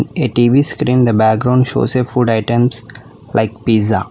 A tv screen the background shows a food items like pizza.